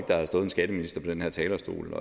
der har stået en skatteminister på den her talerstol